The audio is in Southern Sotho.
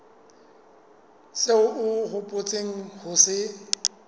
seo o hopotseng ho se